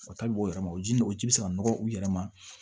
O tali b'o yɛrɛ ma o ji ni o ji bɛ se ka nɔgɔ u yɛrɛ ma